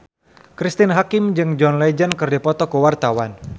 Cristine Hakim jeung John Legend keur dipoto ku wartawan